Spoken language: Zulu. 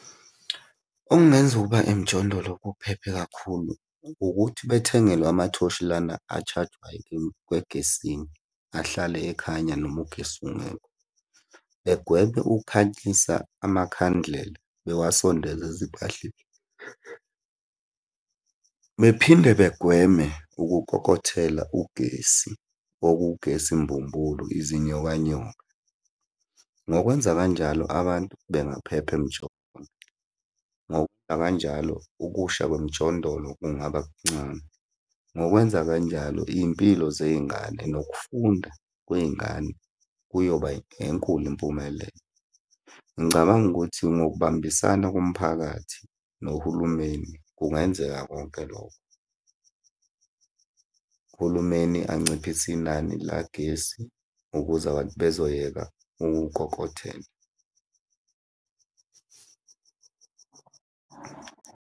Okungenza ukuba emjondolo kuphephe kakhulu ukuthi bethengelwe amathoshi lana a-charge-wayo egesini, ahlale ekhanya noma ugesi ungekho. Begweme ukukhanyisa amakhandlela bewasondeze ezimpahleni. Bephinde begweme ukukokothela ugesi, okugesi mbumbulu, izinyoka nyoka. Ngokwenza kanjalo abantu bengaphepha . Ngokwenza kanjalo ukusha kwemijondolo kungaba kuncane. Ngokwenza kanjalo iy'mpilo zey'ngane nokufunda kwey'ngane kuyoba enkulu impumelelo. Ngicabanga ukuthi ngokubambisana komphakathi nohulumeni, kungenzeka konke lokho. Uhulumeni anciphise inani likagesi ukuze abantu bezoyeka umkokothelo.